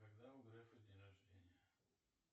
когда у грефа день рождения